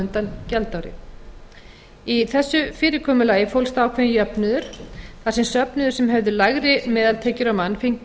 undan gjaldári í þessu fyrirkomulagi fólst ákveðinn jöfnuður þar sem söfnuðir sem höfðu lægri meðaltekjur á mann fengu